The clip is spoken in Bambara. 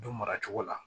Du maracogo la